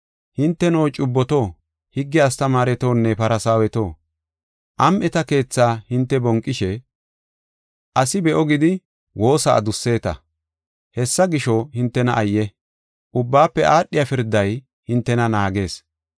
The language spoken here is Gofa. “[Hinteno cubboto, higge astamaaretonne, Farsaaweto, am7eta keetha hinte bonqishe, asi be7o gidi woosa adusseta. Hessa gisho, hintena ayye! Ubbaafe aadhiya pirday hintena naagees.]